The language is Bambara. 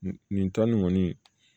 Nin nin tɔn nin kɔni